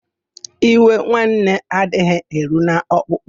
Iwe nwanne adịghị eru n'ọkpụkpụ.